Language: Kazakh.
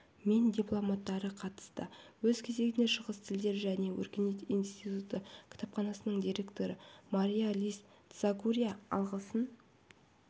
мен дипломаттары қатысты өз кезегінде шығыс тілдері және өркениет институты кітапханасының директоры мария-лиз тсагурия алғысын